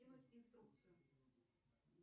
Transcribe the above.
кинуть инструкцию